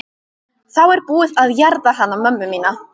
Þá er búið að jarða hana mömmu mína.